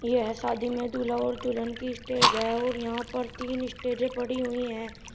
यह शादी में दूल्हा और दुल्हन की स्टेज है और यहां पर तीन स्टेजे पड़ी हुईं हैं।